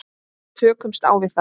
Tökumst á við það.